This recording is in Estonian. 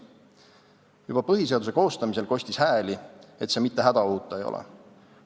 Juba põhiseaduse koostamisel kostis hääli, et see mitte hädaohuta ei ole.